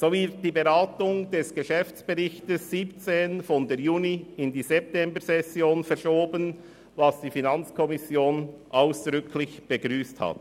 So wird die Beratung des Geschäftsberichts 2017 von der Juni- in die Septembersession 2018 verschoben, was die FiKo ausdrücklich begrüsst hat.